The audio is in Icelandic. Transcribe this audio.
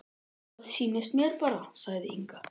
Það sýnist mér bara, sagði Inga.